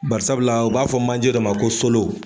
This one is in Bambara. Barisabula u b'a fɔ manje dɔ ma ko solo